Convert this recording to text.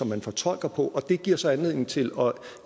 man fortolker på og det giver så anledning til at